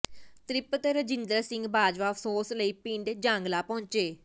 ਤਿ੍ਪਤ ਰਜਿੰਦਰ ਸਿੰਘ ਬਾਜਵਾ ਅਫ਼ਸੋਸ ਲਈ ਪਿੰਡ ਜਾਂਗਲਾ ਪਹੁੰਚੇ